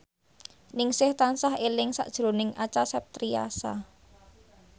Ningsih tansah eling sakjroning Acha Septriasa